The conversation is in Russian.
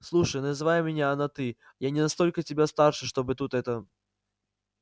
слушай называй меня на ты я не настолько тебя старше чтобы тут это